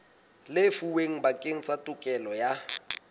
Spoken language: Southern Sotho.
lefuweng bakeng sa tokelo ya